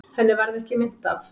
Henni varð ekki meint af.